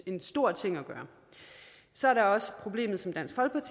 en stor ting at gøre så er der også problemet som